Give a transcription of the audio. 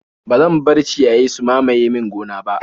Ba zan bar ciyayi su mamaye min gona ba.